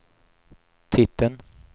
titeln